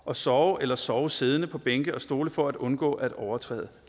og sove eller sove siddende på bænke og stole for at undgå at overtræde